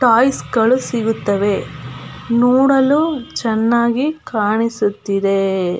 Toys ಗಳು ಸಿಗುತ್ತವೆ ನೋಡಲು ಚೆನ್ನಾಗಿ ಕಾಣಿಸುತ್ತಿದೆ.